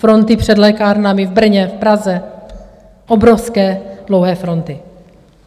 Fronty před lékárnami v Brně, v Praze, obrovské, dlouhé fronty.